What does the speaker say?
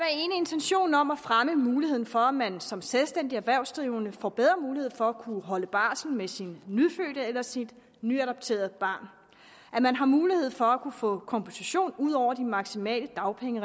intentionen om at fremme muligheden for at man som selvstændigt erhvervsdrivende får bedre mulighed for at kunne holde barsel med sin nyfødte eller sit nyadopterede barn at man har mulighed for at kunne få kompensation ud over de maksimale dagpenge